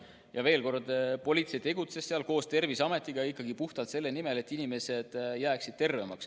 Ja veel kord: politsei tegutses seal koos Terviseametiga ja puhtalt selle nimel, et inimesed jääksid terveks.